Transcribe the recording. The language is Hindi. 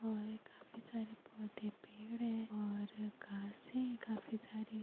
--और ये काफी सारे पौधे-पेड़ है और घासे हैं काफी सारी--